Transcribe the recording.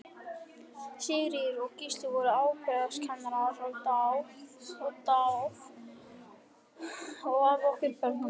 Sigríður og Gísli voru afbragðskennarar og dáð af okkur börnunum.